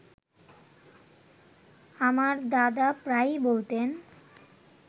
আমার দাদা প্রায়ই বলতেন